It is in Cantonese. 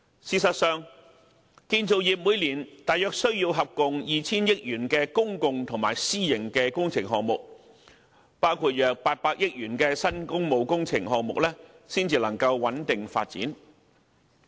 事實上，建造業每年大約需要共 2,000 億元的公共及私營工程項目，包括約800億元的新工務工程項目才能夠穩定發展。